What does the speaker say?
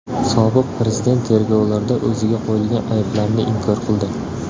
Sobiq prezident tergovlarda o‘ziga qo‘yilgan ayblarni inkor qildi.